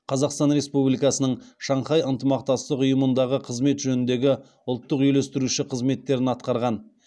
қазақстан республикасының шанхай ынтымақтастық ұйымындағы қызмет жөніндегі ұлттық үйлестірушісі қызметтерін атқарған